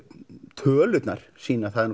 tölurnar sýna að það er